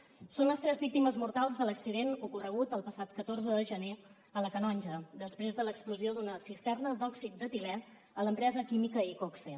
són les tres víctimes mortals de l’accident ocorregut el passat catorze de gener a la canonja després de l’explosió d’una cisterna d’òxid d’etilè a l’empresa química iqoxe